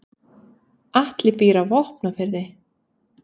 Atli býr á Vopnafirði.